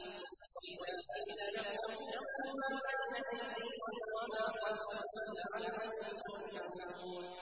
وَإِذَا قِيلَ لَهُمُ اتَّقُوا مَا بَيْنَ أَيْدِيكُمْ وَمَا خَلْفَكُمْ لَعَلَّكُمْ تُرْحَمُونَ